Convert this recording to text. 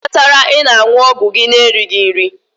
Kedu ihe kpatara ị na-aṅụ ọgwụ gị na-erighị nri?